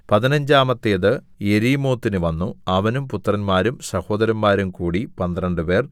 പതിനഞ്ചാമത്തേത് യെരീമോത്തിന് വന്നു അവനും പുത്രന്മാരും സഹോദരന്മാരും കൂടി പന്ത്രണ്ടുപേർ